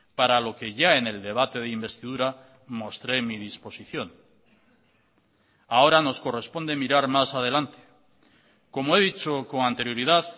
para lo que ya en el debate de investidura mostré mi disposición ahora nos corresponde mirar más adelante como he dicho con anterioridad